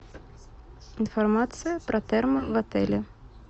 информация про термы в отеле